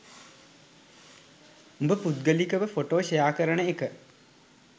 උඹ පුද්ගලිකව photo share කරන එක